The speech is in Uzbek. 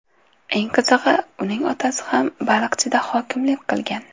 Eng qizig‘i, uning otasi ham Baliqchida hokimlik qilgan.